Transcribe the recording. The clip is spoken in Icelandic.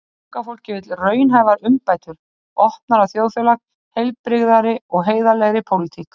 Unga fólkið vill raunhæfar umbætur, opnara þjóðfélag, heilbrigðari og heiðarlegri pólitík.